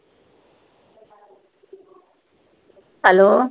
Hello.